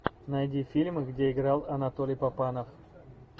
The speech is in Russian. найди фильмы где играл анатолий папанов